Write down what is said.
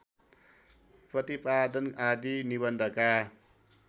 प्रतिपादन आदि निबन्धका